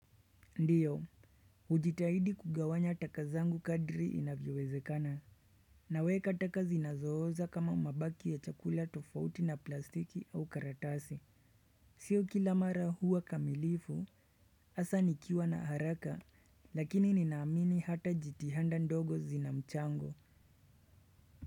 Ndio, hujitahidi kugawanya taka zangu kadri inavyowezekana. Naweka taka zinazooza kama mabaki ya chakula tofauti na plastiki au karatasi. Sio kila mara huwa kamilifu, hasaa nikiwa na haraka, lakini ninaamini hata jitihanda ndogo zinamchango.